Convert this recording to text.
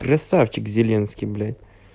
красавчик зеленский блять